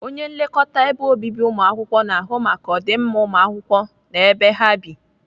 Onye nlekọta ebe obibi ụmụakwụkwọ na-ahụ maka ọdịmma ụmụakwụkwọ na ebe ha bi.